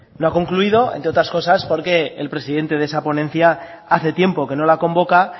no ha concluido entre otras cosas porque el presidente de esa ponencia hace tiempo que no la convoca